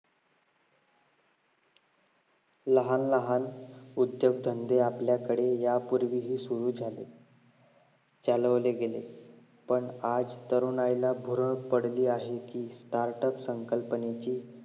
लहान लहान उद्योगधंदे आपल्याकडे या पूर्वी ही सुरू झाले चालवले गेले. पण आज तरुणाईला भूरळ पडली आहे कि startup संकल्पनेची